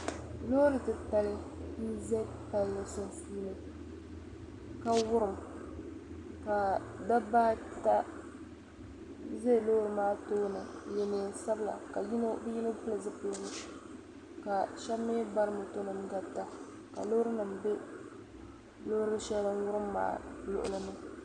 Loori titali n ze pali sunsuuni ka wurim ka dabba ata za loori maa tooni n ye neen'sabila ka yino pili zupiligu ka shab mi bari motonim n garita ka loorinima be loori shɛli din wurim maa luɣuli